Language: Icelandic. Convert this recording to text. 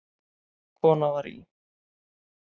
Kona var í